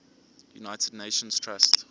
united nations trust